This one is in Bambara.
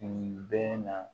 Nin bɛ na